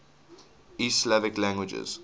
east slavic languages